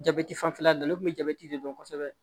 Jabɛti fanfɛla ninnu ne tun bɛ jabɛti de dɔn kosɛbɛ